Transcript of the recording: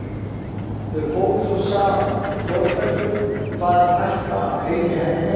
Þau fóru svo saman, því Þórbergur kvaðst ætla að fylgja henni heim.